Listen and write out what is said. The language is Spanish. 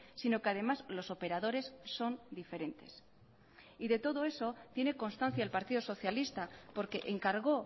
sino que además los operadores son diferentes y de todo eso tiene constancia el partido socialista porque encargó